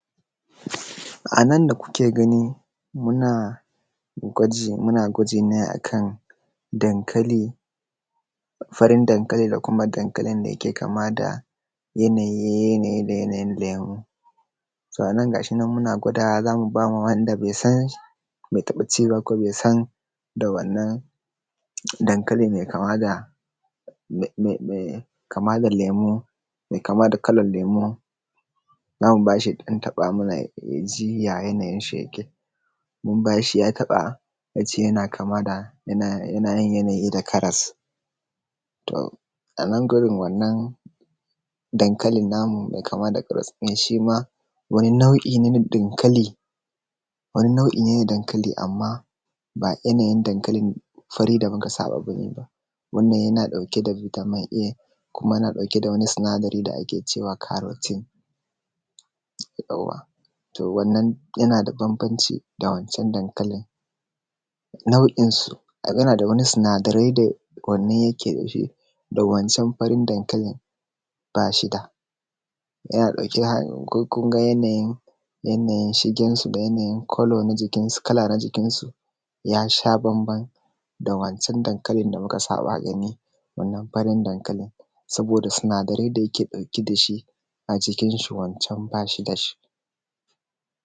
um A nan da kuke gani muna gwaji muna gwaji ne akan dankali farin dankali da kuma dankalin da yake kama da yanayi yanayi da yanayin lemo so a nan ga shi muna gwada za mu ba ma wanda be san be taɓa ci ba ko be san da wannan dankali me kama da me me kama da lemo me kama da kalan lemo za mu ba shi ya ɗan taɓa mana ya ji ya yanayin shi yake mun ba shi ya taɓa ya ce yana kama da yana yanayin yanayi da karas to a nan gurin wannan dankalin namu me kama da karas shi ma wani na’u’ine na dankali wani nau'ine na dankali amma ba yanayin dankalin fari da muka saba bane ba wannan yana ɗauke da vitamin a kuma yana ɗauke da wani sinadari da ake cewa carotin yawwa to wannan yana da bambanci da wan can dankalin na’u’inusu yana da wani sinadarai da wannan yake dashi da wancan farin dankalin ba shi da yana ɗauke da um ko kunga yanayin shigen su da yanayin colour na jikinsu kala na jikin su ya sha bamban da wancan dankalin da muka saba gani wannan farin dankalin saboda sinadarai da yake ɗauke da shi a jikin shi wan can ba shi da shi.